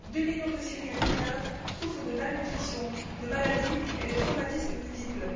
Deux millions de Syriens mineurs souffrent de malnutrition, de maladies et de traumatismes multiples.